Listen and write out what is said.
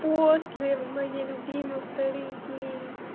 после моей любимой в тарифе